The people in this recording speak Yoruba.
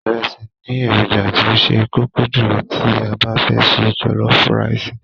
Ìrẹsì ni èròjà tí ó ṣe kókó jùlọ tí a bá fẹ́ se jọ̀lọ́fú raìsì.